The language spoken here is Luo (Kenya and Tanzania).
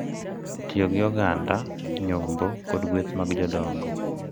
Tiyo gi oganda, nyombo, kod gueth mag jodongo—